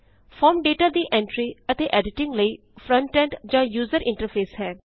form data ਦੀ entry ਅਤੇ editing ਲਈ ਫਰੰਟਐਂਡ ਜਾ ਯੂਜ਼ਰ ਇੰਟਰਫੇਸ ਹੈ